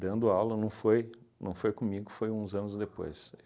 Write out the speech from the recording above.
Dando aula, não foi não foi comigo, foi uns anos depois.